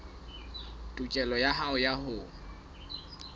tokelo ya hao ya ho